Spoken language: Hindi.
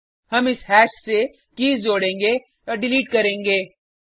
हम इस हैश से कीज़ जोड़ेंगे डिलीट करेंगे